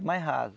Mais raso.